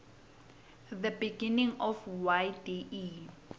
the beginning of yde